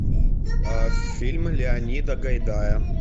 фильм леонида гайдая